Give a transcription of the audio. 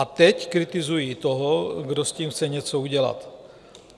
A teď kritizují toho, kdo s tím chce něco udělat.